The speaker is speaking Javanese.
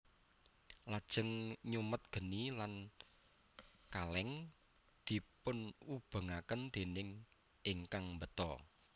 Lajeng nyumet geni lan kaleng dipunubengaken déning ingkang mbeta